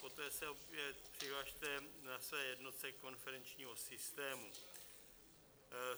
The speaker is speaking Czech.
Poté se opět přihlaste na své jednotce konferenčního systému.